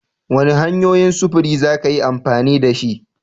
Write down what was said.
Wane hanyoyin sufuri za ka yi amfani da shi?